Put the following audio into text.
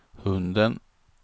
hunden